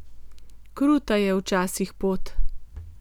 Kruta je včasih pot.